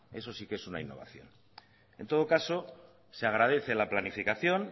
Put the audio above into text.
eso sí que es una innovación en todo caso se agradece la planificación